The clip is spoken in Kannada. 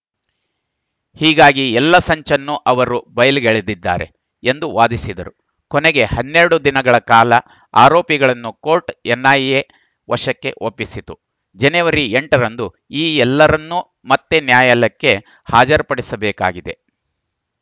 ಹೀಗಾಗಿ ಎಲ್ಲ ಸಂಚನ್ನು ಅವರು ಬಯಲಿಗೆಳೆದಿದ್ದಾರೆ ಎಂದು ವಾದಿಸಿದರು ಕೊನೆಗೆ ಹನ್ನೆರಡು ದಿನಗಳ ಕಾಲ ಆರೋಪಿಗಳನ್ನು ಕೋರ್ಟ್‌ ಎನ್‌ಐಎ ವಶಕ್ಕೆ ಒಪ್ಪಿಸಿತು ಜನವರಿ ಎಂಟ ರಂದು ಈ ಎಲ್ಲರನ್ನೂ ಮತ್ತೆ ನ್ಯಾಯಾಲಯಕ್ಕೆ ಹಾಜರುಪಡಿಸಬೇಕಾಗಿದೆ